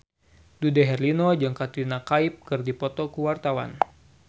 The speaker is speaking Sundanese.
Dude Herlino jeung Katrina Kaif keur dipoto ku wartawan